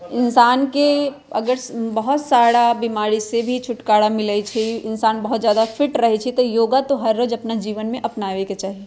इंसान के अगर बहोत साड़ा बीमारी से भी छुटकारा मिले छै इंसान बहोत ज़्यादा फिट रहे छे त योगा तो हर रोज अपना जीवन में अपनावे के चाही।